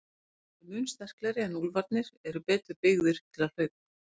Hundarnir eru mun sterklegri en úlfarnir eru betur byggðir til hlaupa.